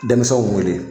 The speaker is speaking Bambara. Denmisɛnw wele